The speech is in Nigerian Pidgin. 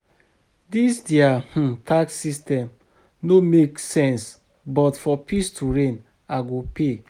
Dis their um tax system no make sense but for peace to reign I go pay